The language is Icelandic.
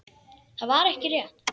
Það var ekki rétt.